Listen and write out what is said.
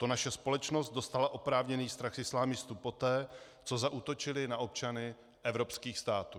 To naše společnost dostala oprávněný strach z islamistů poté, co zaútočili na občany evropských států.